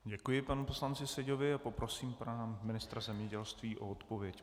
Děkuji panu poslanci Seďovi a poprosím pana ministra zemědělství o odpověď.